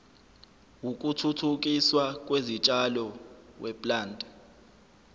wokuthuthukiswa kwezitshalo weplant